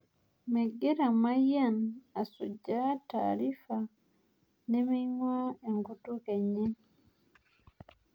Megira mayian asujaa taarifa nemeing'uaa enkutuk enye